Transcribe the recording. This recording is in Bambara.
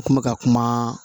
U kun bɛ ka kuma